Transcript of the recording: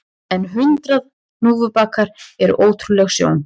En hundrað hnúfubakar eru ótrúleg sjón